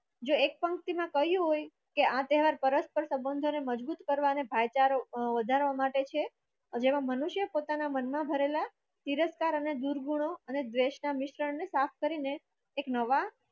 જો એ પંક્તિમાં કહ્યું હોય આ તહેવાર પરસ્પર સંબંધો ને મજબૂત કરવા અને ભાઈચારો અ વધારવા માટે છે મનુષ્ય પોતાના મનમાં ભરેલા તિરસ્કાર અને જૂરગુણો ડ્રેસના મિશ્રણને સાફ કરીને એક નવા